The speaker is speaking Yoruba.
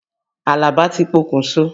Àlàbá ti pokùn so.